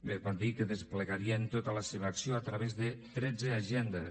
bé van dir que desplegarien tota la seva acció a través de tretze agendes